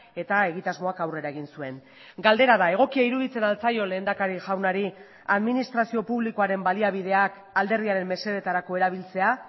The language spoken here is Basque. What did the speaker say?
eta egitasmoak aurrera egin zuen galdera da egokia iruditzen al zaio lehendakari jaunari administrazio publikoaren baliabideak alderdiaren mesedetarako erabiltzea